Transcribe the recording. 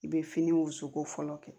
I bɛ fini wusu ko fɔlɔ kɛ